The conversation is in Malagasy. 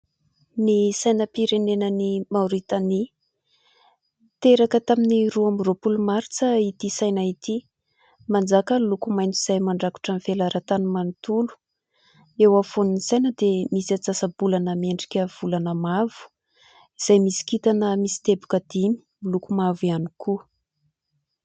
Ny sainam-pirenenan'i Maoritania. Teraka tamin'ny roa amby roapolo martsa ity saina ity. Manjaka ny loko maitso izay mandrakotra ny velaran-tany manontolo, eo afovoan'ny saina dia misy antsasa-bolana miendrika volana mavo izay misy kintana misy teboka dimy miloko mavo ihany koa.